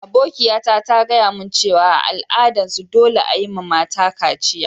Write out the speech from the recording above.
Abokiya ta ta gaya mun cewa a' al'adan su dolle a'yi ma mata kaciya.